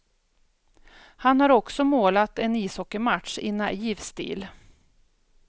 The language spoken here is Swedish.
Han har också målat en ishockeymatch i naiv stil.